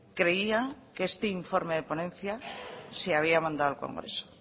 creía que este informe de ponencia se había mandado al congreso